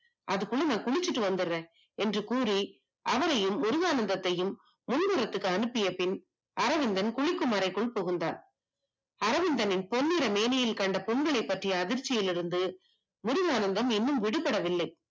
அவனையும் முருகானந்தத்தையும் முன்னறைக்கு அனுப்பிய பின் அரவிந்தன் குளிக்கும் முறைக்குள் புகுந்தான் அரவிந்தனின் பொன்னிற மேனியில் கண்ட புண்களை பற்றிய அதிர்ச்சியிலிருந்து முருகானந்தம் இன்னும் விடுபடவில்லை